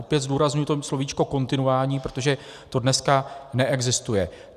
Opět zdůrazňuji to slovíčko kontinuální, protože to dneska neexistuje.